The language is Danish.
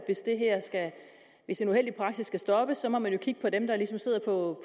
hvis en uheldig praksis skal stoppes må man jo kigge på dem der ligesom sidder og